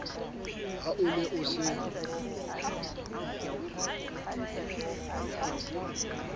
ha o ne o se